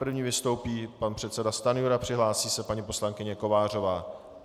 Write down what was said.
První vystoupí pan předseda Stanjura, přihlásí se paní poslankyně Kovářová.